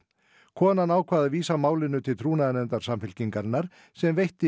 konan ákvað að vísa málinu til trúnaðarráðs Samfylkingarinnar sem veitti